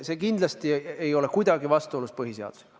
See kindlasti ei ole kuidagi vastuolus põhiseadusega.